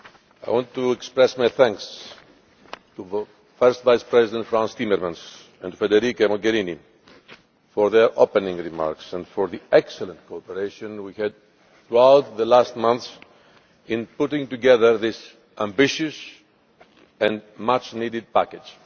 I want to express my thanks to both First Vice President Frans Timmermans and Federica Mogherini for their opening remarks and for the excellent cooperation we had throughout the last month in putting together this ambitious and much needed package.